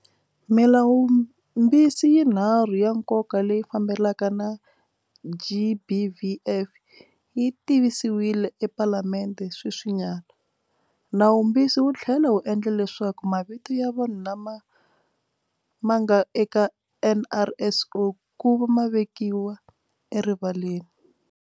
Milawumbisi yinharhu ya nkoka leyi fambelanaka na, GBVF, yi tivisiwile ePalamende sweswinyana. Nawumbisi wu tlhela wu endla leswaku mavito ya vanhu lama ma nga eka NRSO kuva ma vekiwa erivaleni.